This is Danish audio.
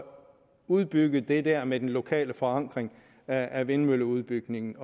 udbygge det der med den lokale forankring af vindmølleudbygningen